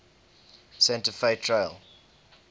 santa fe trail